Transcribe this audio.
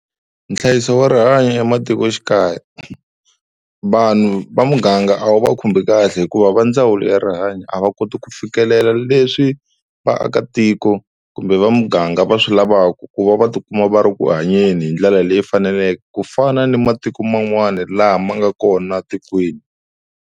Nhlayiso wa rihanyo ematikoxikaya vanhu va muganga a wu va khumbi kahle hikuva va ndzawulo ya rihanyo a va koti ku fikelela leswi vaakatiko kumbe va muganga va swi lavaka ku va va tikuma va ri eku hanyeni hi ndlela leyi faneleke, ku fana ni matiko man'wana lama ma nga kona etikweni.